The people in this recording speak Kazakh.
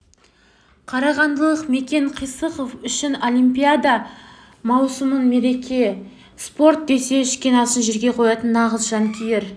қарағандылық мекен қисықов үшін олимпиада маусымы мереке ол спорт десе ішкен асын жерге қоятын нағыз жанкүйер